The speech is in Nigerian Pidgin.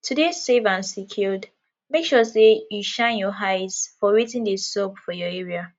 to de safe and secured make sure say you shine your eyes for wetin de sup for your area